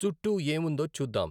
చుట్టూ ఏముందో చూద్దాం